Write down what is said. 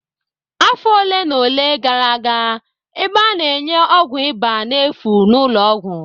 Afọ ole na ole gara aga, ebe a na-enye ọgwụ ịba n'efu n'ụlọọgwụ